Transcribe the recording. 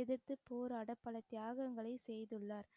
எதிர்த்துப் போராட பல தியாகங்களை செய்துள்ளார்